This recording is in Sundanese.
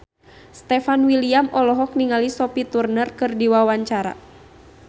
Stefan William olohok ningali Sophie Turner keur diwawancara